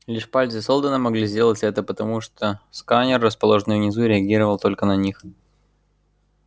лишь пальцы сэлдона могли сделать это потому что сканер расположенный внизу реагировал только на них